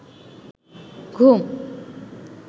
ঘুম